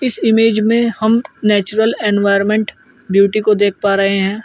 इस इमेज में हम नेचुरल एनवॉरमेंट ब्यूटी को देख पा रहे हैं।